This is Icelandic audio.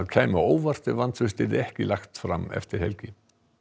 kæmi á óvart ef vantraust verður ekki lagt fram eftir helgi